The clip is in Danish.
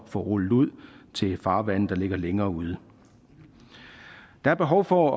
få rullet ud til farvande der ligger længere ude der er behov for